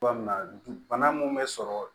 Cogoya min na bana mun bɛ sɔrɔ